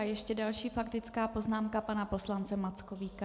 A ještě další faktická poznámka pana poslance Mackovíka.